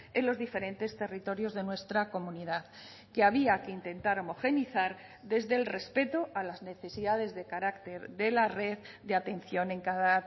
en los diferentes territorios de nuestra comunidad que había que intentar homogeneizar desde el respeto a las necesidades de carácter de la red de atención en cada